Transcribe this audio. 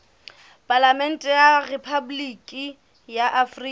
palamente ya rephaboliki ya afrika